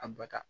A ba ta